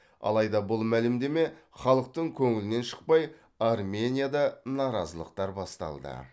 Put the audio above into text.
алайда бұл мәлімдеме халықтың көңілінен шықпай арменияда наразылықтар басталды